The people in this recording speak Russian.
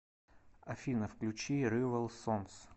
афина включи ривал сонс